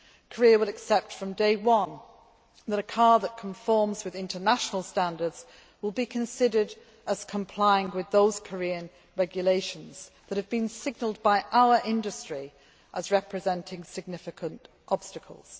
Korea will accept from day one that a car that conforms to international standards will be considered as complying with those Korean regulations that have been signalled by our industry as representing significant obstacles.